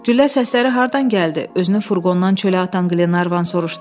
Güllə səsləri hardan gəldi, özünü furqondan çölə atan Glevan soruşdu.